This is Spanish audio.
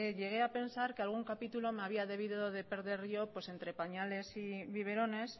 llegué a pensar que algún capítulo me había debido de perder yo entre pañales y biberones